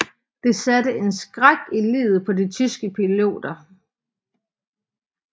Det satte en skræk i livet på de tyske piloter